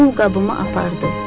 Pul qabımı apardı.